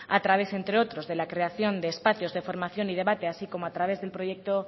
a través entre otros de la creación de espacios de formación y debate así como a través de proyecto